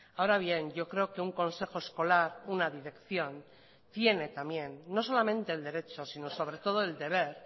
ahora bien yo creo que un consejo escolar una dirección tiene también no solamente el derecho sino sobre todo el deber